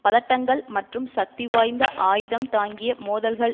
பதட்டங்கள் மற்றும் சக்திவாய்ந்த ஆயுதம் தாங்கிய மோதல்கள்